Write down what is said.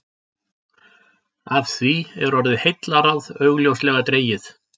Af því er orðið heillaráð augljóslega dregið.